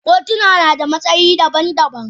Kotuna na da matsayi daban-daban.